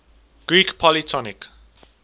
greek polytonic